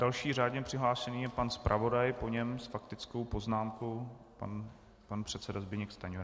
Další řádně přihlášený je pan zpravodaj, po něm s faktickou poznámkou pan předseda Zbyněk Stanjura.